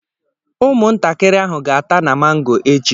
Ụmụntakịrị ahụ ga-ata na mango echi